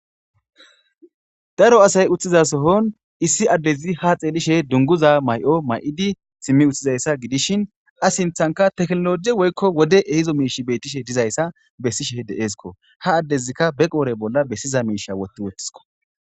Daro asay utthiza sohon issi addezi ha xeelishe dunguza mayo mayidi simmi utthizayssa gidishin a sinthanka teknologe woykko wode ehizo miish beettishe dizayssa bessishe deeeskko ha addezikka be qoore bolla bessiza miisha wotti wottisko.